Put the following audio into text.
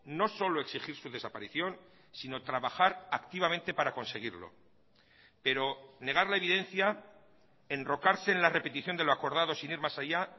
no solo exigir su desaparición sino trabajar activamente para conseguirlo pero negar la evidencia enrocarse en la repetición de lo acordado sin ir más allá